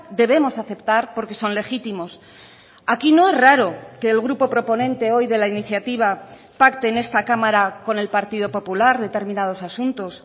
debemos aceptar porque son legítimos aquí no es raro que el grupo proponente hoy de la iniciativa pacte en esta cámara con el partido popular determinados asuntos